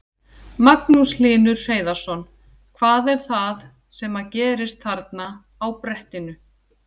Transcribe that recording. Magnús Hlynur Hreiðarsson: Hvað er það sem að gerist þarna á brettinu?